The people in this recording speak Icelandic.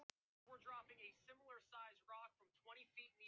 Sjáðu bara hann Loft hérna niðri.